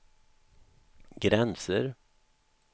gränser